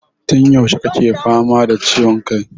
Tun yaushe kake fama da ciwon kai?